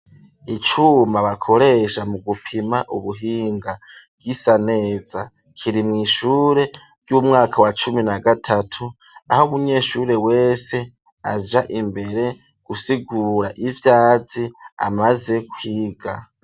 Icuma bakoresha mu gupima ubuhinga, gisa neza kiri mw'ishure ry'umwaka wa cumi na gatatu, aho umunyeshure wese aja imbere gusigura ivyazi amaze kwiga.